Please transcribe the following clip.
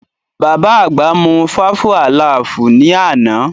Bàbá àgbà mú fáfú àlaàfù ní àná